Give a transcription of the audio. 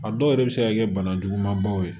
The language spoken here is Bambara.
A dɔw yɛrɛ bɛ se ka kɛ bana juguman baw ye